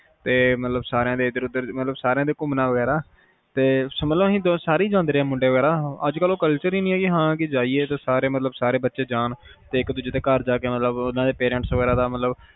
ਤੇ ਮਤਲਬ ਸਾਰਿਆਂ ਇਧਰ ਓਧਰ ਸਾਰਿਆਂ ਦੇ ਘੁੰਮਣਾ ਵਗੈਰਾ ਤੇ ਮਤਲਬ ਅਸੀਂ ਸਾਰੇ ਈ ਜਾਂਦੇ ਰਹੇ ਆ ਮੁੰਡੇ ਵਗੈਰਾ ਤੇ ਅੱਜ ਕੱਲ ਉਹ culture ਈ ਨਹੀਂ ਆ ਕੇ ਸਾਰੇ ਜਾਈਏ, ਸਾਰੇ ਬੱਚੇ ਜਾਣ ਤੇ ਇੱਕ ਦੂਜੇ ਦੇ ਘਰ ਜਾ ਕੇ ਓਹਨਾ ਦੇ parents ਵਗੈਰਾ ਦਾ ਮਤਲਬ